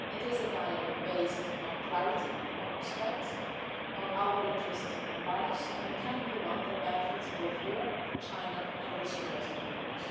order. It is a dialogue based on clarity, on respect, and on our interests and values, and it can be one that benefits both Europe and China, as well as the rest of the